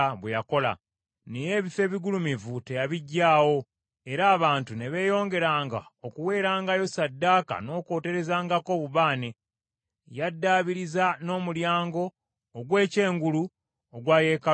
Naye ebifo ebigulumivu tebyaggibwawo, era abantu ne beeyongeranga okuweerangayo ssaddaaka n’okwoterezangako obubaane. Yaddaabiriza n’Omulyango ogw’ekyengulu ogwa yeekaalu ya Mukama .